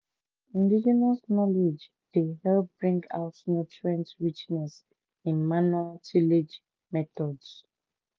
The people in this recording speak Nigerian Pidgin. indegenous knowledge dey bring out nutrient richness in manual tillage methods."